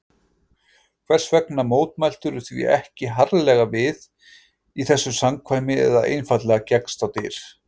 Hvers vegna mótmæltirðu því ekki harðlega við, í þessu samkvæmi eða einfaldlega gekkst á dyr?